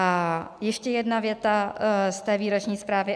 A ještě jedna věta z té výroční zprávy.